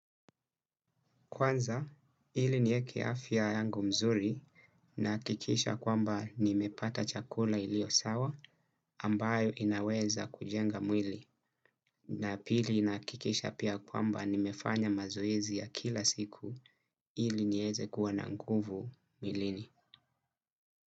Kwanza ili nie keafia yangu mzuri na kikisha kwamba nimepata chakula ilio sawa ambayo inaweza kujenga mwili na pili na kikisha pia kwamba nimefanya mazoezi ya kila siku ili nieze kuwa na nguvu milini.